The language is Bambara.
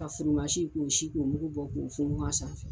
Ka furumasi k'o sin k'o mugu bɔ k'o funfun a sanfɛ.